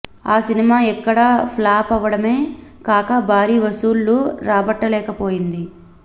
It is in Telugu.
ఆ సినిమా ఇక్కడా ఫ్లాప్ అవడమే కాక భారీ వసూళ్లు రాబట్టలేకపోయింది